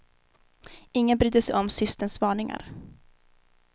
Ingen brydde sig om systerns varningar.